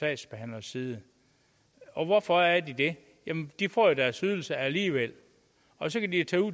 sagsbehandleres side og hvorfor er de det jamen de får jo deres ydelse alligevel og så kan de tage ud